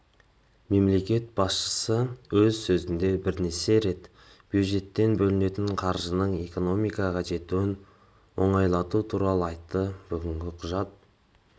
мемлекет басшысы өз сөзінде бірнеше рет бюджеттен бөлінетін қаржының экономикаға жетуін оңайлату туралы айтты бүгінгі құжат